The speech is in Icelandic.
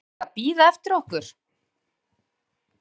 BARA VERIÐ AÐ BÍÐA EFTIR OKKUR!